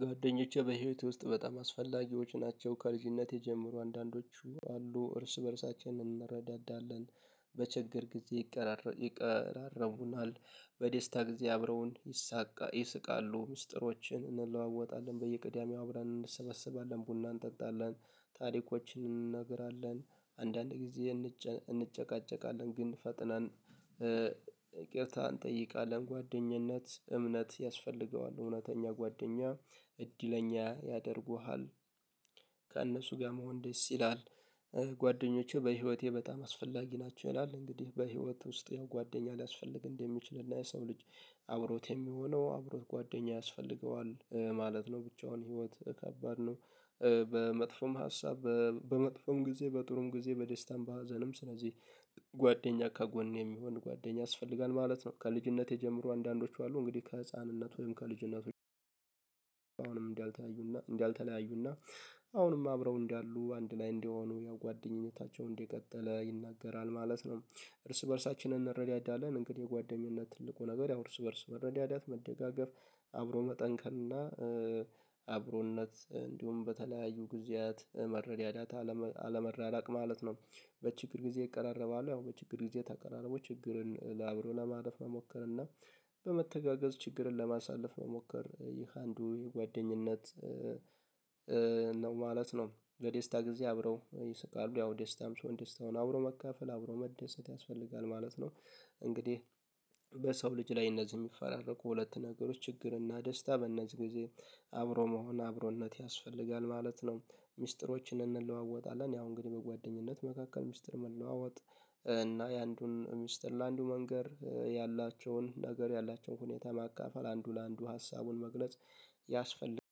ጓደኞቼ በህይወቴ ውስጥ በጣም አስፈላጊዎች ናቸው። ከልጅነቴ ጀምሮ አንዳንዶቹ አሉ እርስ በእርሳችን እንረዳዳለን። በቸገረኝ ጊዜ ይቀራረቡናል። በዴስታ ጊዜ አብረውን ይስቃሉ። ምስጢሮችን እንለዋወጣለን በየቅዳሚው አብረን እንሰበሰባለን ቡና እንጠጣለን። ታሪኮችን እንነግራለን። አንዳንድ ጊዜ እንጨቃጨቃለን ግን ፈጥነን ይቅርታ እንጠይቃለን። ጓደኝነት እምነት ያስፈልገዋል። እውነተኛ ጓደኛ እድለኛ ያደርጉሃል። ከእነሱ ጋር መሆን ደስ ይላል። ጓደኞቼ በህይወቴ በጣም አስፈላጊ ናቸው ይላል። እንግዲህ በህይወት ውስጥ ያው ጓደኛ ሊያስፈልግ እንደሚችል እና የሰው ልጅ አብሮት የሚሆነው አብሮት ጓደኛ ያስፈልገዋል ማለት ነው። ብቻውን ህይወት ከባድ ነው። በመጥፎም ሀሳብ በመጥፎም ጊዜ በጥሩም ጊዜ በደስታም በሀዘንም ስለዚህ ጓደኛ ከጎን የሚሆን ጓደኛ ያስፈልጋል ማለት ነው። ከልጅነቴ ጀምሮ አንዳንዶቹ አሉ እንግዲህ ከህፃንነት ወይም ከልጅነት? እንዳልተለያዩና እንዳልተለያዩና አሁንም አብረው እንዳሉ አንድ ላይ እንደሆኑ ያው ጓደኝነታቸው እንደቀጠለ ይናገራል ማለት ነው። እርስ በእርሳችንን እንረዳዳለን እንግዲህ የጓደኝነት ትልቁ ነገር ያው እርስ በእርስ መረዳዳት መደጋገፍ አብሮ መጠንከር እና አብሮነት እንዲሁም በተለያዩ ጊዜያት መረዳዳት አለመራራቅ ማለት ነው። በችግር ጊዜ ይቀራረባሉ ያው በችግር ጊዜ ተቀራርቦ ችግርን አብሮ ለማለፍ መሞከር እና በመተጋገዝ ችግርን ለማሳለፍ መሞከር ይህ አንዱ የጓደኝነት ነው ማለት ነው። ለደስታ ጊዜ አብረው ይስቃሉ ያው ደስታም ሰው ደስታውን አብሮ መካፈል አብሮ መደሰት ያስፈልጋል ማለት ነው። እንግዲህ በሰው ልጅ ላይ እነዚህ የሚፈራረቁ ሁለት ነገሮች ችግር እና ደስታ በእነዚህ ጊዜ አብሮ መሆን አብሮነት ያስፈልጋል ማለት ነው። ሚስጥሮችን እንለዋወጣለን ያው እንግዲህ በጓደኝነት መካከል ሚስጥር መለዋወጥ እና የአንዱን ሚስጥር ለአንዱ መንገር ያላቸውን ነገር ያላቸውን ሁኔታ ማካፈል አንዱ ለአንዱ ሀሳቡን መግለጽ ያስፈልጋል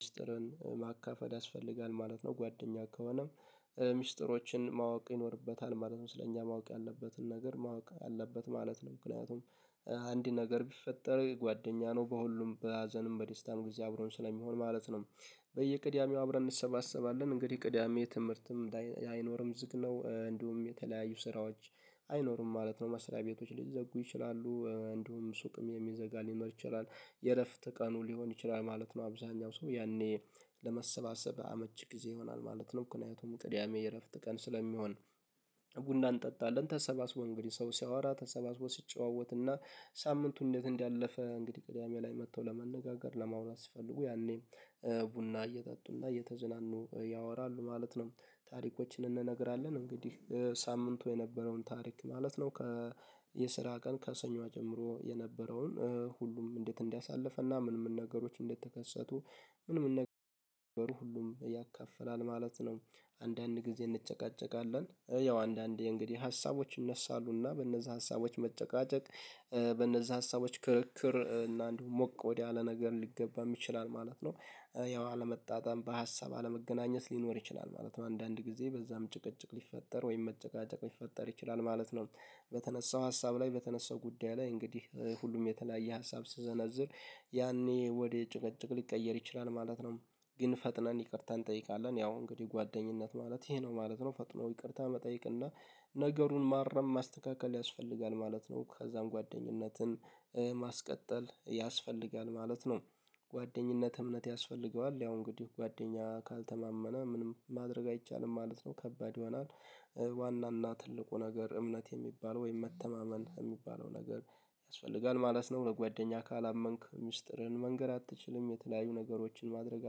ሚስጥርን ማካፈል ያስፈልጋል ማለት ነው። ጓደኛ ከሆነም ሚስጥሮችን ማወቅ ይኖርበታል ማለት ነው። ስለ እኛ ማወቅ ያለበትን ነገር ማወቅ አለበት ማለት ነው። ምክንያቱም አንድ ነገር ቢፈጠር ጓደኛ ነው በሁሉም በሀዘንም በደስታም ጊዜ አብሮን ስለሚሆን ማለት ነው። በየቅዳሜው አብረን እንሰባሰባለን እንግዲህ ቅዳሜ ትምህርትም ላይ አይኖርም ዝግ ነው እንዲሁም የተለያዩ ስራዎች አይኖርም ማለት ነው። መስሪያ ቤቶች ሊዘጉ ይችላሉ እንዲሁም ሱቅም የሚዘጋ ሊኖር ይችላል የእረፍት ቀኑ ሊሆን ይችላል ማለት ነው። አብዛኛው ሰው ያኔ ለመሰባሰብ አመች ጊዜ ይሆናል ማለት ነው። ምክንያቱም ቅዳሜ የእረፍት ቀን ስለሚሆን ቡና እንጠጣለን ተሰባስቦ እንግዲህ ሰው ሲያወራ ተሰባስቦ ሲጨዋወትና ሳምንቱን እንዴት እንዳለፈ እንግዲህ ቅዳሜ ላይ መጥተው ለመነጋገር ለማውራት ሲፈልጉ ያኔ ቡና እየጠጡና እየተዝናኑ ያወራሉ ማለት ነው። ታሪኮችን እንነግራለን እንግዲህ ሳምንቱ የነበረውን ታሪክ ማለት ነው። የስራ ቀን ከሰኞ ጀምሮ የነበረውን ሁሉም እንዴት እንዲያሳልፍ እና ምንም ነገሮች እንደተከሰቱ ምንም ነገር ሁሉም ያካፍላል ማለት ነው። አንዳንድ ጊዜ እንጨቃጨቃለን ያው አንዳንዴ እንግዲህ ሀሳቦች ይነሳሉና እና በእነዛ ሀሳቦች መጨቃጨቅ በእነዛ ሀሳቦች ክርክር እና አንዱ ሞቅ ወዳለ ነገር ሊገባም ይችላል ማለት ነው። ያው አለመጣጣም በሀሳብ አለመገናኘት ሊኖር ይችላል ማለት ነው አንዳንድ ጊዜ በዛም ጭቅጭቅ ሊፈጠር ወይም መጨቃጨቅ ሊፈጠር ይችላል ማለት ነው። በተነሳው ሀሳብ ላይ በተነሳው ጉዳይ ላይ እንግዲህ ሁሉም የተለያየ ሀሳብ ሲሰነዝር ያኔ ወደ ጭቀጭቅ ሊቀየር ይችላል ማለት ነው። ግን ፈጥነን ይቅርታ እንጠይቃለን ያው እንግዲህ ጓደኝነት ማለት ይሄ ነው ማለት ነው። ፈጥኖ ይቅርታ መጠየቅ እና ነገሩን ማረም ማስተካከል ያስፈልጋል ማለት ነው። ከዛም ጓደኝነትን ማስቀጠል ያስፈልጋል ማለት ነው። ጓደኝነት እምነት ያስፈልገዋል ያው እንግዲህ ጓደኛ ካልተማመነ ምንም ማድረግ አይቻልም ማለት ነው። ከባድ ይሆናል ዋናና ትልቁ ነገር እምነት የሚባለው ወይም መተማመን የሚባለው ነገር ያስፈልጋል ማለት ነው። በጓደኛ ካላመንክ ሚስጥርህን መንገር አትችልም የተለያዩ ነገሮችን ማድረግ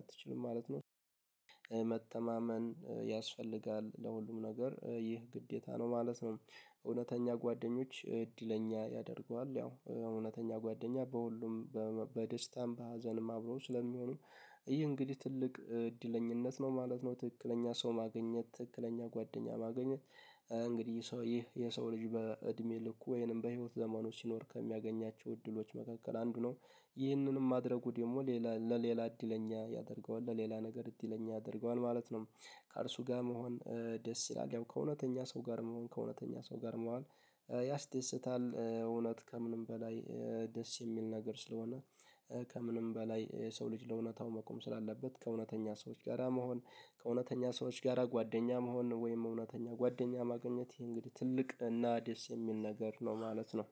አትችልም ማለት ነው። መተማመን ለሁሉም ነገር ይህ ግዴታ ነው ማለት ነው። እውነተኛ ጓደኞች እድለኛ ያደርጉሃል ያው እውነተኛ ጓደኛ በሁሉም በደስታም በሀዘንም አብሮ ስለሚሆኑ ይህ እንግዲህ ትልቅ እድለኝነት ነው ማለት ነው። ትክክለኛ ሰው ማግኘት ትክክለኛ ጓደኛ ማግኘት እንግዲህ ሰው ይህ የሰው ልጅ በእድሜ ልኩ ወይንም በህይወት ዘመኑ ሲኖር ከሚያገኛቸው እድሎች መካከል አንዱ ነው። ይህንንም ማድረጉ ደግሞ ሌላ ለሌላ እድለኛ ያደርገዋል ለሌላ ነገር እድለኛ ያደርገዋል ማለት ነው። ከእርሱ ጋር መሆን ደስ ይላል ያው ከእውነተኛ ሰው ጋር መሆን ከእውነተኛ ሰው ጋር መዋል ያስደስታል። እውነት ከምንም በላይ ደስ የሚል ነገር ስለሆነ። ከምንም በላይ የሰው ልጅ ለእውነታው መቆም ስላለበት ከእውነተኛ ሰዎች ጋራ መሆን ከእውነተኛ ሰዎች ጋራ ጓደኛ መሆን ወይም እውነተኛ ጓደኛ ማግኘት ይሄ እንግዲህ ትልቅ እና ደስ የሚል ነገር ነው ማለት ነው